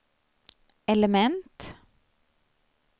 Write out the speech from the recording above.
element